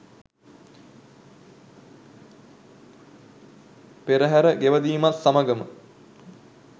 පෙරහර ගෙවැදීමත් සමගම